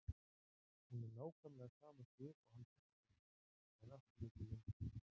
Hún er nákvæmlega sama Sif og hann þekkti meðan allt lék í lyndi.